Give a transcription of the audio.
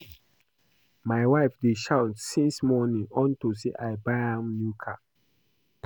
My wife dey shout since morning unto say I buy am new car